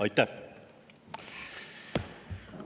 Aitäh!